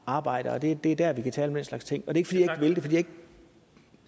arbejde og det er der vi kan tale om den slags ting og det er ikke fordi